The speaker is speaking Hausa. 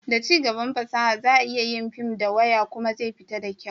da cigaban fasaha, za a iya yin fim da waya kuma zai fita da kyau